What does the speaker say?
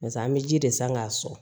Barisa an bɛ ji de san k'a sɔrɔ